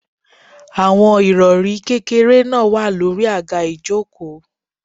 Àwọn Ìrọ̀rí kékeré náà wà lórí àga ìjókòó.